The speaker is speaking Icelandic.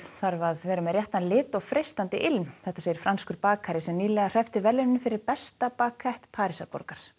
þarf að vera með réttan lit og freistandi ilm þetta segir franskur bakari sem nýlega hreppti verðlaunin fyrir besta Parísar